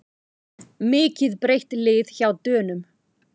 Mikið breytt lið hjá Dönum